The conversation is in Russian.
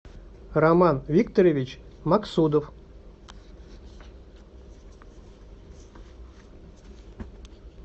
роман викторович максудов